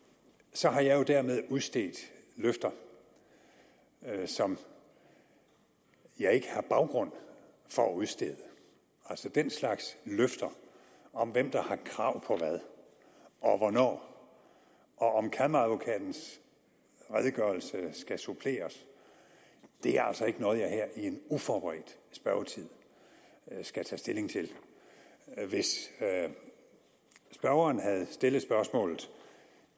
så har jeg jo dermed udstedt løfter som jeg ikke har baggrund for at udstede altså den slags løfter om hvem der har krav på hvad og hvornår og om at kammeradvokatens redegørelse skal suppleres er altså ikke noget jeg her i en uforberedt spørgetime skal tage stilling til hvis spørgeren havde stillet spørgsmålet